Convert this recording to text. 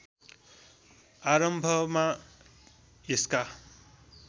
आरम्भमा यसका